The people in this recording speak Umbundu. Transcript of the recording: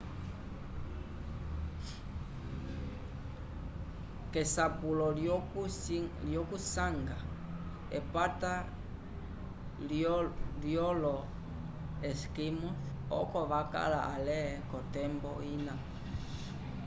k'esapulo lyokuvisanga epata lyolo-esquimós oko vakala ale k'otembo ina